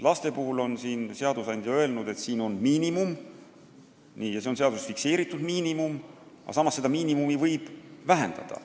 Laste puhul on seadusandja öelnud, et niisugune on miinimum – see on seaduses fikseeritud miinimum –, aga samas võib seda miinimumi vähendada.